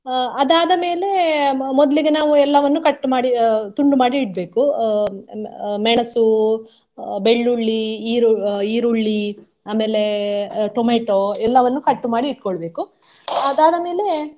ಅಹ್ ಅದಾದ ಮೇಲೆ ಮೊದ್ಲಿಗೆ ನಾವು ಎಲ್ಲವನ್ನು cut ಮಾಡಿ ಅಹ್ ತುಂಡು ಮಾಡಿ ಇಡ್ಬೇಕು. ಅಹ್ ಮೆಣಸು, ಅಹ್ ಬೆಳ್ಳುಳ್ಳಿ, ಈರು~ ಅಹ್ ಈರುಳ್ಳಿ ಆಮೇಲೆ ಅಹ್ ಟೊಮೆಟೊ ಎಲ್ಲವನ್ನು cut ಮಾಡಿ ಇಟ್ಕೊಳ್ಬೇಕು ಅದಾದ ಮೇಲೆ .